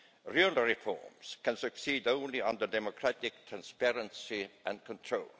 Real reforms can succeed only under democratic transparency and control.